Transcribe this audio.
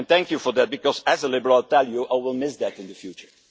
And thank you for that because as a Liberal, I will miss that in the future.